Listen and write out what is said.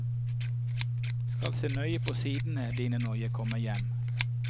Skal se nøye på sidene dine når jeg kommer hjem.